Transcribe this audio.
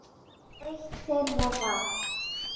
Eitt þeirra var